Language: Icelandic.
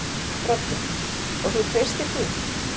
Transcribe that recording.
Broddi: Og þú treystir því?